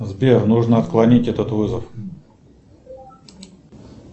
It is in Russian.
сбер нужно отклонить этот вызов